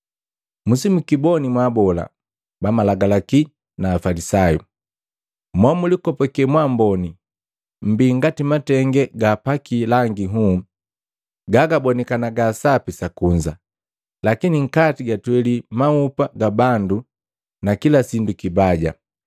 “Musimukiboni mwaabola bamalagalaki na Afalisayu! Mo mulikopake mwaamboni! Mbii ngati matenge gaapaki langi nhuu, gagabonikana ga sapi sakunza, lakini nkati gatweli maupa ga bandu na kila sindu kibaja.